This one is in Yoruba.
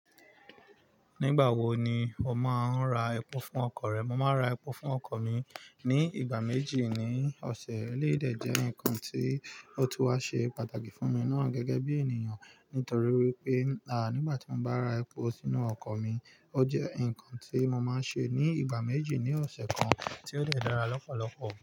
Nígbà wo ni o máa ń ra epo fún ọkọ̀ rẹ? Mo máa ń ra epo fún ọkọ̀ mi ní ìgbà méjì ní ọ̀sẹ̀. Eléyi de jẹ́ ǹkan tí ó tun wá ṣe pàtàkì fún mi ná gẹ́gẹ́ bí ènìyàn. Nítorí wipé, à nígbà tí mo bá ra epo sínú ọkọ̀ mi, ó jẹ́ ǹkan tí mo máa ń ṣe ní ìgbà méjì ní ọ̀sẹ̀ kan, tí ó dẹ̀ dára lọ́pọ̀lọpọ̀